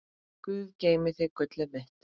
Guð geymi þig, gullið mitt.